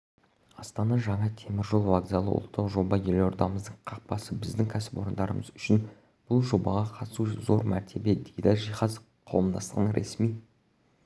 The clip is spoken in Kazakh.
астана жаңа темір жол вокзалы ұлттық жоба елордамыздың қақпасы біздің кәсіпорындарымыз үшін бұл жобаға қатысу зор мәртебе дейді жиһаз қауымдастығының ресми